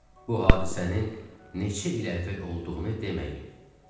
Bu hadisənin neçə il əvvəl olduğunu deməyim.